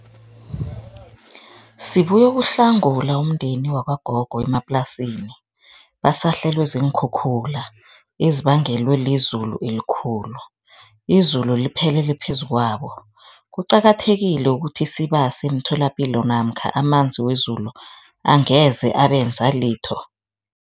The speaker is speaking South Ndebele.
Sibuyokuhlangula umndeni wakwagogo emaplasini basahlelwe ziinkhukhula ezibangela lizulu elikhulu, izulu liphelele phezukwabo. Kuqakathekile ukuthi sibase emitholapilo namkha amanzi wezulu angeze abenza litho?